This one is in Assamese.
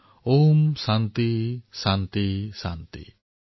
ঔম শান্তিঃ শান্তিঃ শান্তিঃ